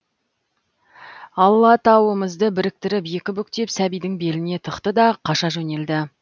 аллатауымызды біріктіріп екі бүктеп сәбидің беліне тықты да қаша жөнелді